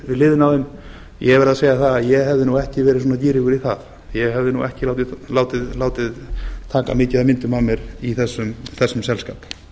hliðina á þeim ég verð að segja það að ég hefði nú ekki verið svona gírugur í það ég hefði nú ekki látið taka mikið af myndum af mér í þessum selskap